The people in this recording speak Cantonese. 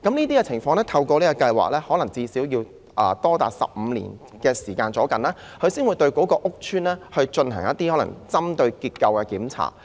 在全面結構勘察計劃下，可能要長達15年房屋署才會對屋邨進行結構檢查。